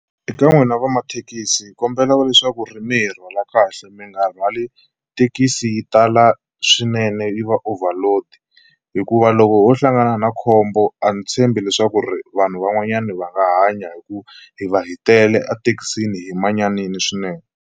Eka n'wina vamathekisi hi kombela leswaku ri mi hi rhwala kahle mi nga rhwali thekisi yi tala swinene yi va overload hikuva loko ho hlangana na khombo a ni tshembi leswaku ri vanhu van'wanyana va nga hanya hi ku hi va hi tele ethekisini hi manyanini swinene.